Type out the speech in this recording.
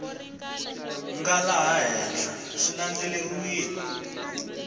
nga laha henhla swi landzeleriwile